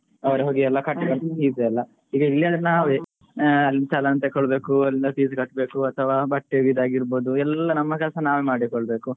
ಅವ್ರೆಲ್ಲ ಹೋಗಿ ಕಟ್ಟಿ ಬರ್ತಾರೆ ಈಗ ಇಲ್ಲಿ ಆದ್ರೆ ನಾವೆ ಆಹ್ challan ತೆಕ್ಕೊಳ್ಬೇಕು, fees ಕಟ್ಬೇಕು ಅಥವಾ ಬಟ್ಟೆದ್ ಇದ್ದಾಗಿರ್ಬೋದು ಎಲ್ಲ ಕೆಲಸ ನಾವೆ ಮಾಡಿಕೊಳ್ಬೇಕು.